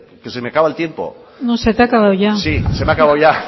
que se me acaba el tiempo no se te ha acabado ya sí se me ha acabado ya